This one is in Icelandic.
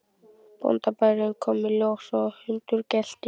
Bóndabærinn kom í ljós og hundur gelti.